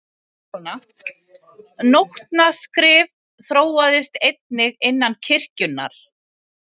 Nótnaskrift þróaðist einnig innan kirkjunnar.